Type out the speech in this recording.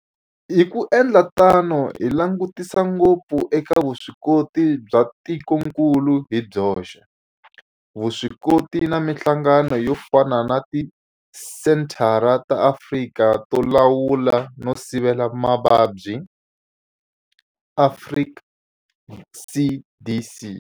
Hi ku endla tano hi langutisa ngopfu eka vuswikoti bya tikokulu hi byoxe, vuswikoti na mihlangano yo fana na Tisenthara ta Afrika to Lawula no Sivela Mavabyi, Afrika CDC.